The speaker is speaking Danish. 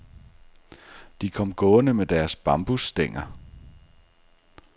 De kom gående med deres bambusstænger.